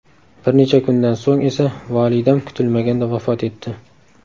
Bir necha kundan so‘ng esa volidam kutilmaganda vafot etdi.